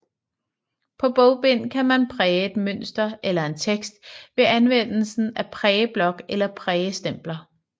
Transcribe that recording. På bogbind kan man præge et mønster eller en tekst ved anvendelse af prægeblok eller prægestempler